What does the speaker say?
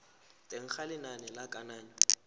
teng ga lenane la kananyo